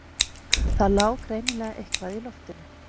Það lá greinilega eitthvað í loftinu.